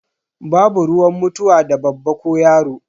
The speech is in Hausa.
Babu ruwan mutuwa da babba ko yaro.